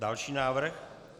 Další návrh.